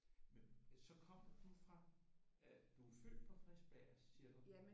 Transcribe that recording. Men så kom du fra øh du er født på Frederiksberg siger du?